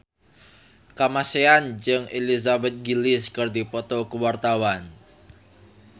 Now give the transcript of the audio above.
Kamasean jeung Elizabeth Gillies keur dipoto ku wartawan